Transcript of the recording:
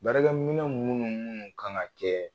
Baarakɛminɛ minnu minnu kan ka kɛ